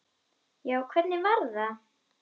Já, hvernig var það?